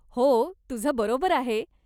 हो, तुझं बरोबर आहे.